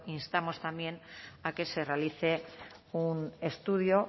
instamos también a que se realice un estudio